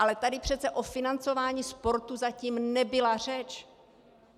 Ale tady přece o financování sportu zatím nebyla řeč.